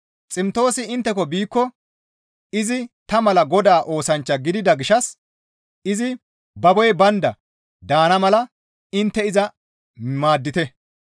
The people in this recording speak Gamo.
Ximtoosi intteko biikko izi ta mala Godaa oosanchcha gidida gishshas izi baboy baynda daana mala intte iza maaddite.